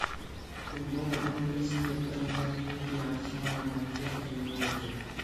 футбол английской премьер лиги арсенал манчестер юнайтед